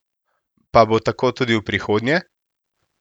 Pa bo tako tudi v prihodnje?